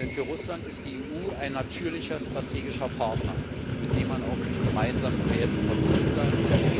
Denn für Russland ist die EU ein natürlicher strategischer Partner, mit dem man auch durch gemeinsame Werte verbunden ist.